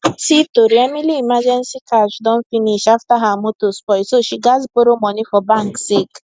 see tori emily emergency cash don finish after her motor spoil so she gats borrow money for bank sake